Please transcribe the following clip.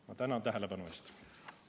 Ma tänan tähelepanu eest!